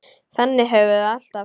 Þannig höfum við það alltaf.